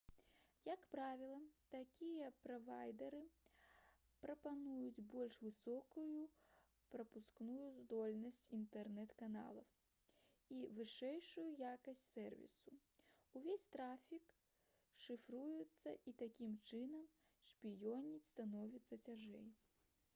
як правіла такія правайдары прапануюць больш высокую прапускную здольнасць інтэрнэт-каналаў і вышэйшую якасць сэрвісу увесь трафік шыфруецца і такім чынам шпіёніць становіцца цяжэй